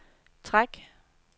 træk